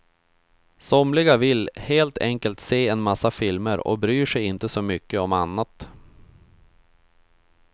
Somliga vill helt enkelt se en massa filmer och bryr sig inte så mycket om annat.